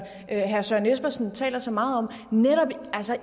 herre søren espersen taler så meget om netop